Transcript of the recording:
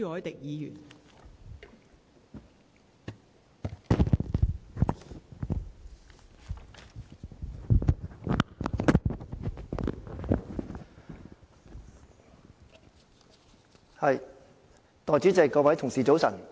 代理主席，各位同事早晨。